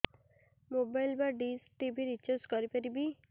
mobile ବା dish TV recharge କରି ପାରିବି